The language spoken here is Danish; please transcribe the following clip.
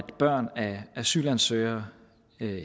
børn af asylansøgere